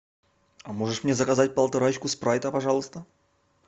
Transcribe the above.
можешь мне заказать полторашку спрайта пожалуйста